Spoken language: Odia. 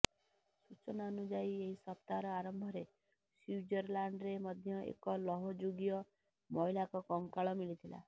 ସୂଚନା ଅନୁଯାୟୀ ଏହି ସପ୍ତାହର ଆରମ୍ଭରେ ସ୍ୱିଜରଲ୍ୟାଣ୍ଡରେ ମଧ୍ୟ ଏକ ଲୌହ ଯୁଗୀୟ ମହିଳାଙ୍କ କଙ୍କାଳ ମିଳିଥିଲା